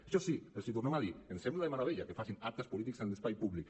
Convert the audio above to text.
això sí els hi tornem a dir ens sembla de meravella que facin actes polítics en l’espai públic